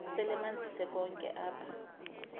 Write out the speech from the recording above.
selemanzise konke apha